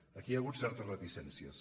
aquí hi ha hagut certes reticències